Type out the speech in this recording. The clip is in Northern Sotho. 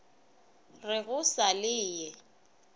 re go sa le ye